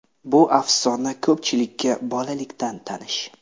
Bu afsona ko‘pchilikka bolalikdan tanish.